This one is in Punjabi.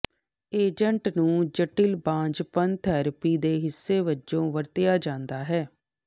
ਏਜੰਟ ਨੂੰ ਜਟਿਲ ਬਾਂਝਪਨ ਥੈਰੇਪੀ ਦੇ ਹਿੱਸੇ ਵਜੋਂ ਵਰਤਿਆ ਜਾਂਦਾ ਹੈ